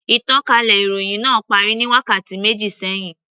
Ìtànkálẹ̀ ìròhìn náà parí ní wákàtí méjì sẹ́hìn.